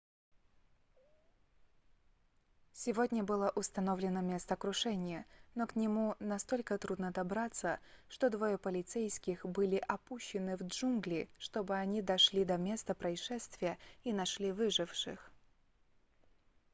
сегодня было установлено место крушения но к нему настолько трудно добраться что двое полицейских были опущены в джунгли чтобы они дошли до места происшествия и нашли выживших